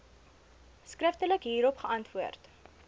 skriftelik hierop geantwoord